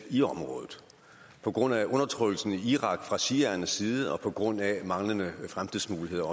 i området på grund af undertrykkelsen i irak fra shiaernes side og også på grund af manglende fremtidsmuligheder